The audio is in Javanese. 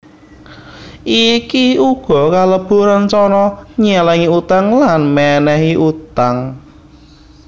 Iki uga kalebu rencana nyelengi utang lan menehi utang